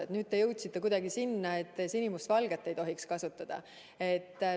Ja lõpuks jõudsite sinna, et sinimustvalget ei tohiks kasutada.